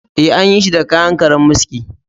Ee, an yi shi da kayan karammiski